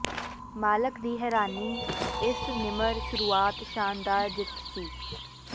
ਮਾਲਕ ਦੀ ਹੈਰਾਨੀ ਇਸ ਨਿਮਰ ਸ਼ੁਰੂਆਤ ਸ਼ਾਨਦਾਰ ਜਿੱਤ ਸੀ